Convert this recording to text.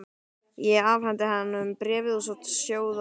Þar afhenti hann honum bréfin og tvo sjóði að auki.